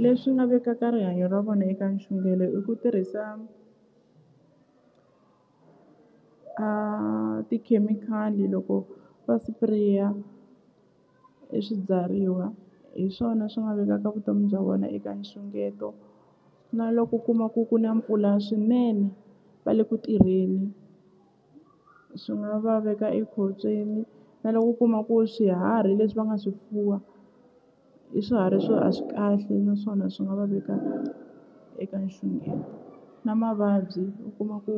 Leswi nga vekaka rihanyo ra vona eka nxungelo i ku tirhisa a tikhemikhali loko va sipireya e swibyariwa hi swona swi nga vekaka vutomi bya vona eka nxungeto na loko u kuma ku ku na mpfula swinene va le ku tirheni swi nga va veka ekhotsweni na loko u kuma ku swiharhi leswi va nga swi fuwa i swiharhi swo a swi kahle naswona swi nga va veka eka nxungeto na mavabyi u kuma ku